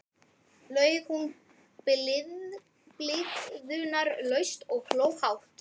laug hún blygðunarlaust og hló hátt.